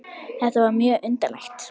Þetta var mjög undarlegt.